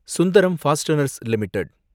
Sundram fasteners limited